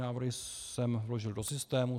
Návrhy jsem vložil do systému.